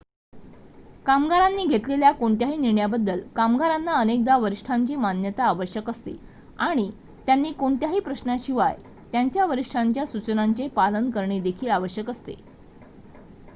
कामगारांनी घेतलेल्या कोणत्याही निर्णयाबद्दल कामगारांना अनेकदा वरिष्ठांची मान्यता आवश्यक असते आणि त्यांनी कोणत्याही प्रश्नाशिवाय त्यांच्या वरिष्ठांच्या सुचनांचे पालन करणे देखील आवश्यक असते